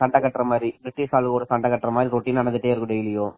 சண்டை கட்டுற மாதிரி பிரிட்டிஷ் கூட சண்டை கட்டுற மாதிரி routine நடந்துகிட்டே இருக்கும்